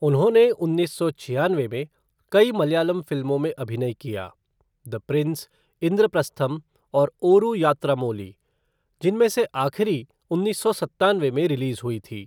उन्होंने उन्नीस सौ छियानवे में कई मलयालम फिल्मों में अभिनय किया द प्रिंस, इंद्रप्रस्थम और ओरू यात्रामोली, जिनमें से आखिरी उन्नीस सौ सत्तानवे में रिलीज़ हुई थी।